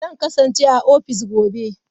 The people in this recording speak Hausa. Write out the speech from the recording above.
Zan kasance a ofis gobe.